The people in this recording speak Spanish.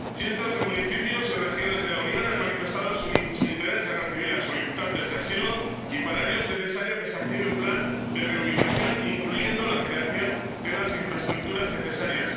Cientos de municipios y regiones de la Unión han manifestado su interés en recibir a solicitantes de asilo y para ello es necesario que se active un plan de reubicación, incluyendo la creación de las infraestructuras necesarias.